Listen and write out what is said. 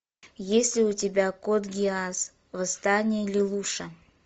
есть ли у тебя код гиас восстание лелуша